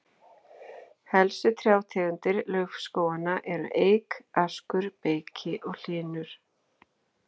Helstu trjátegundir laufskóganna eru eik, askur, beyki og hlynur.